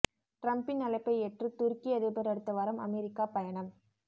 டிரம்ப்பின் அழைப்பை ஏற்று துருக்கி அதிபர் அடுத்த வாரம் அமெரிக்கா பயணம்